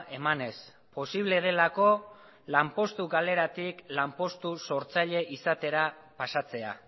emanez posible delako lanpostu galeratik lanpostu sortzaile izatera pasatzea